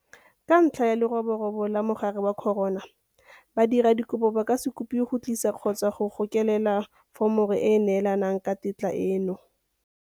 Ka ntlha ya leroborobo la mogare wa corona, badiradikopo ba ka se kopiwe go tlisa kgotsa go gokelela foromo e e neelanang ka tetla eno.